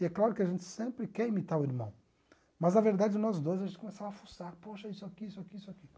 E é claro que a gente sempre quer imitar o irmão, mas na verdade nós dois a gente começava a fuçar, poxa, isso aqui, isso aqui, isso aqui.